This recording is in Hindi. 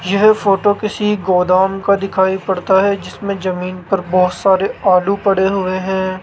यह फोटो किसी गोदाम का दिखाई पड़ता है जिसमें जमीन पर बहोत सारे आलू पड़े हुए हैं।